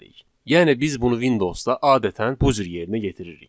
Yəni biz bunu Windowsda adətən bu cür yerinə yetiririk.